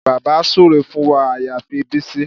Bàbá súre fún wa àyàfi Bísí